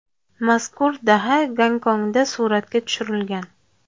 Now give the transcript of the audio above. Mazkur daha Gonkongda suratga tushirilgan.